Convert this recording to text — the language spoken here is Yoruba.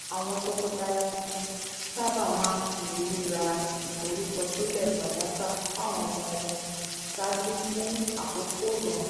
àwọn tọkọtaya tuntun sábà máa ń fi rírà ìforúkọsílẹ̀ fàdákà fáwọn ọmọ wọn ṣáájú fún àkókò ìròrùn